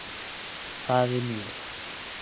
Það er mjög